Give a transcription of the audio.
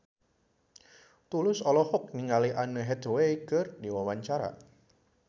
Tulus olohok ningali Anne Hathaway keur diwawancara